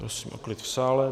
Prosím o klid v sále.